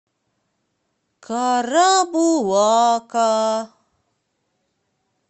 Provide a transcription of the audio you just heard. карабулака